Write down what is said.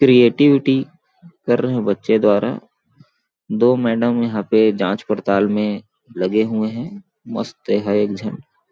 creativity कर रहे हैं बच्चे द्वारा दो मैडम यहां पर जांच पड़ताल में लगे हुए हैं मस्त है एग्जाम --